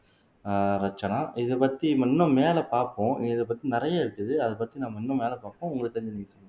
ஆஹ் ரட்சனா இதைப்பத்தி இன்னும் மேலே பார்ப்போம் இதைப்பத்தி நிறையா இருக்குது அதைப்பத்தி நாம இன்னும் மேலே பார்ப்போம் உங்களுக்கு தெரிஞ்சதை நீங்க சொல்லுங்க